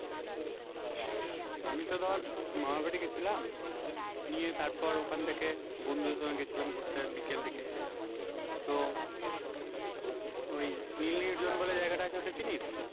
আমি তো ধর মামার বাড়ি গেছিলাম নিয়ে তারপর ওখান থেকে বন্ধুদের সঙ্গে গেছিলাম ঘুরতে বিকেল দিকে, তো ওই নীল নির্জন বলে জায়গাটা আছে ওটা চিনিস?